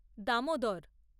Damodar